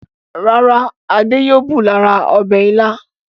Rárá, Adé yóò bù lára ọbẹ̀ Ìlá.